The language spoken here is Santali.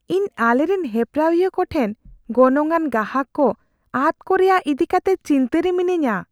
ᱤᱧ ᱟᱞᱮᱨᱮᱱ ᱦᱮᱯᱨᱟᱣᱤᱭᱟᱹ ᱠᱚᱴᱷᱮᱱ ᱜᱚᱱᱚᱝᱼᱟᱱ ᱜᱟᱦᱟᱠ ᱠᱚ ᱟᱫᱽᱼᱠᱚ ᱨᱮᱭᱟᱜ ᱤᱫᱤ ᱠᱟᱛᱮ ᱪᱤᱱᱛᱟᱹ ᱨᱮ ᱢᱤᱱᱟᱹᱧᱟ ᱾